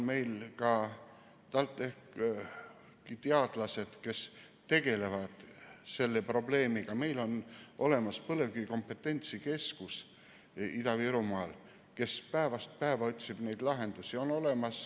Meil on TalTechi teadlased, kes tegelevad selle probleemiga, meil on Ida-Virumaal olemas põlevkivi kompetentsikeskus, kes päevast päeva otsib neid lahendusi.